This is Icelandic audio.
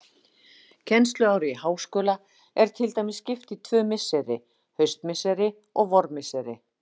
Kennsluári í háskóla er til dæmis skipt í tvö misseri, haustmisseri og vormisseri.